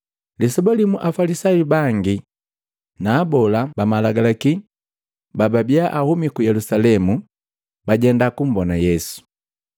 Lisoba limu Afalisayu bangi na Abola ba Malagalaki bababia ahumi ku Yelusalemu bajenda kumbona Yesu.